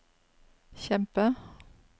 kjempe